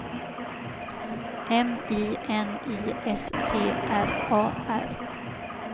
M I N I S T R A R